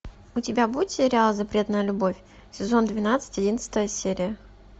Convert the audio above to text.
у тебя будет сериал запретная любовь сезон двенадцать одиннадцатая серия